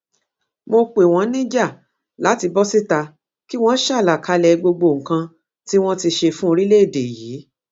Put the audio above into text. mo pè wọn níjà láti bọ síta kí wọn ṣàlàkalẹ gbogbo nǹkan tí wọn ti ṣe fún orílẹèdè yìí